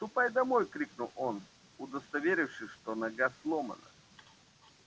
ступай домой крикнул он удостоверившись что нога сломана